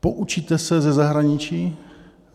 Poučíte se ze zahraničí?